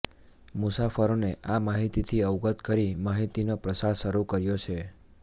મુસાફરોને આ માહિતીથી અવગત કરી માહિતીનો પ્રસાર શરૂ કર્યો છે